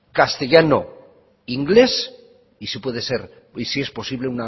castellano inglés y si es posible